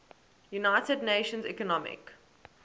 united nations economic